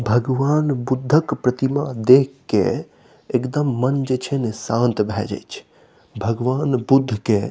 भगवान बुद्ध क प्रतिमा देख के एकदम मन जे छे न शांत भेय जाय छे भगवान बुद्ध के --